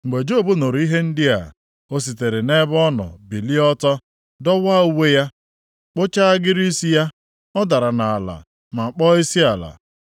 Mgbe Job nụrụ ihe ndị a, o sitere nʼebe ọ nọ bilie ọtọ, dọwaa uwe ya, kpụchaa agịrị isi ya, ọ dara nʼala ma kpọọ isiala,